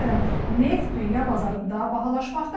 Məsələn, neft dünya bazarında bahalaşmaqdadır.